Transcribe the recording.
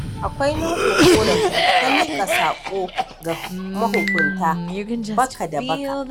Akwai nau'in ƙorafi ta miƙa saƙo ga mahukunta baka da baka.